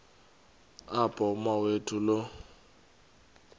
apho umawethu lo